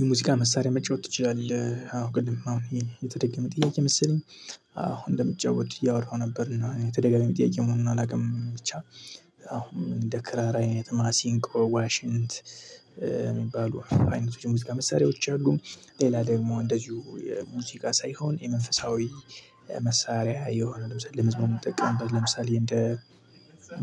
የሙዚቃ መሳሪያ መጫወት ትችላለህ አው ቅድም አሁን ይሄን የተደገመ ጥያቄ መሰለኝ? አው እንደምጫወት እያወራሁ ነበር እና ይሄ ተደጋጋሚ ጥያቄ መሆኑን አላውቅም ብቻ አሁን እንደ ክራራ አይነት ማሲንቆ ዋሽንት። የሚባሉ አይነቶች ሙዚቃ መሳሪያዎች አሉ ሌላ ደግሞ እንደዚሁ ሙዚቃ ሳይሆን የመንፈሳዊ መሳሪያ የሆነ ለምሳሌ ለመዝሙር ምንጠቀምበት ለምሳሌ እንደ